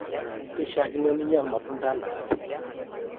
keishaakino ninya ilmatunda enaake